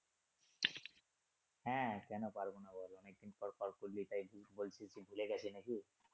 হ্যা কেন পারবো না। বলো অনেক দিন পর কল করলি তাই বলতেছি ভুলে গেছি নাকি?